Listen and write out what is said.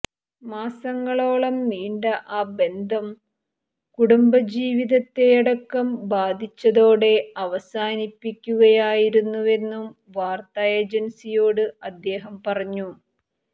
മാസങ്ങളോളം നീണ്ട ആ ബന്ധം കുടുംബജീവിതത്തെയടക്കം ബാധിച്ചതോടെ അവസാനിപ്പിക്കുകയായിരുന്നുവെന്നും വാർത്താ ഏജൻസിയോട് അദ്ദേഹം പറഞ്ഞു